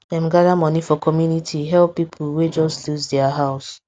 dem gather money for community help people wey just lose their house